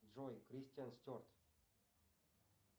джой кристиан стюарт